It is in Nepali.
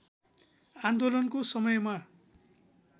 आन्दोलनको समयमा